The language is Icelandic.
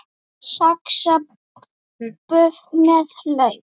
Saxað buff með lauk